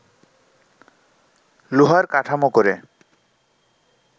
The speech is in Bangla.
লোহার কাঠামো করে